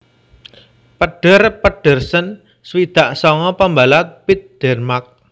Peder Pedersen swidak sanga pambalap pit Dènmark